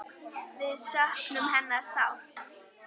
Við söknum hennar sárt.